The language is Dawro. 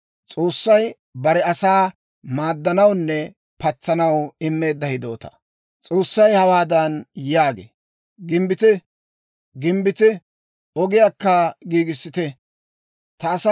S'oossay hawaadan yaagee; «Gimbbite, Gimbbite! Ogiyaakka giigissite; ta asaa ogiyaappe d'ubbiyaawaa ubbaa diggite» yaagee.